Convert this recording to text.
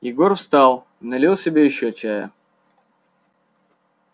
егор встал налил себе ещё чая